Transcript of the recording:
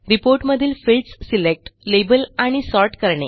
report मधील fields select label आणि sort करणे